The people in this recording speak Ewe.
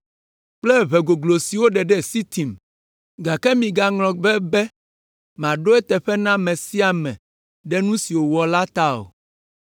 kple ʋe goglo si woɖe ɖe Sitin, gake migaŋlɔ be, be maɖo eteƒe na ame sia ame ɖe nu si wòwɔ la ta o.